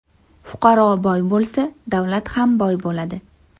Fuqaro boy bo‘lsa, davlat ham boy bo‘ladi.